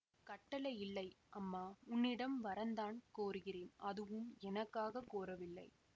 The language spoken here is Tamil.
கட்டளை இல்லை அம்மா உன்னிடம் வரந்தான் கோருகிறேன் அதுவும் எனக்காக கோரவில்லை